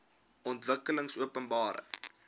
ontwikkelingopenbare